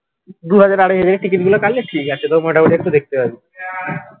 দুহাজার আড়াইহাজার এর ticket গুলো কাটলে ঠিক আছে তো মোটামুটি একটু দেখতে পারবি।